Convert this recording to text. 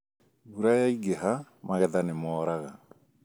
Mbura yaingĩha , magetha nĩmoraga